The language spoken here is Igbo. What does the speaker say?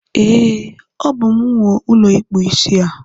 E, Ọ bú m nwe ụlọ ikpu isi a.